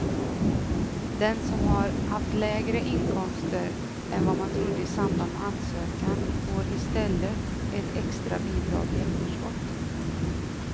Den som har haft lägre inkomster än vad man trodde i samband med ansökan får i stället ett extra bidrag i efterskott.